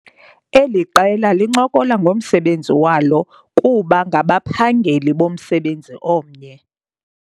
Eli qela lincokola ngomsebenzi walo kuba ngabaphageli bomsebenzi omnye.